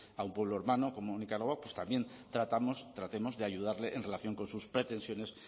a un pueblo hermano como nicaragua también tratemos de ayudarle en relación con sus pretensiones